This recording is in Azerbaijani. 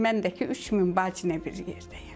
Mən də ki, 3000 bacı ilə bir yerdəyəm.